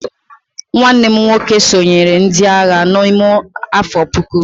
nwanne m nwoke sonyeere ndi agha n'ime afo puku